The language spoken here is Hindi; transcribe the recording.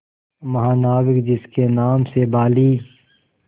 महानाविक जिसके नाम से बाली